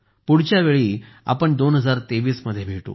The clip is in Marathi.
पुढच्या वेळी आपण 2023 मध्ये भेटू